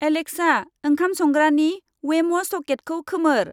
Alexa, ओंखाम संग्रानि वेम' सकेटखौ खोमोर।